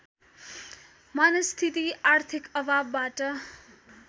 मनस्थिति आर्थिक अभावबाट